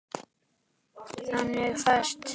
Þannig fæst